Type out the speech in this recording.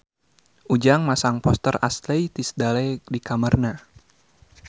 Ujang masang poster Ashley Tisdale di kamarna